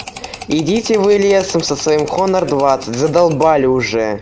идите вы лесом со своим хонор двадцать надоели уже